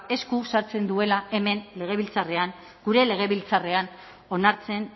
esku sartzen duela hemen legebiltzarrean gure legebiltzarrean onartzen